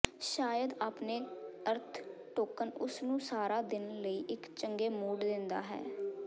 ਸ਼ਾਇਦ ਆਪਣੇ ਅਰਥ ਟੋਕਨ ਉਸ ਨੂੰ ਸਾਰਾ ਦਿਨ ਲਈ ਇੱਕ ਚੰਗੇ ਮੂਡ ਦਿੰਦਾ ਹੈ